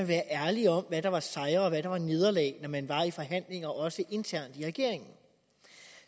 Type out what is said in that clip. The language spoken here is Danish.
være ærlig om hvad der var sejre og hvad der var nederlag når man var i forhandlinger også internt i regeringen